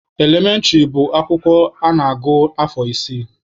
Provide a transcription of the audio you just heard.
Elementịrị bụ akwụkwọ a na-agụ afọ isii.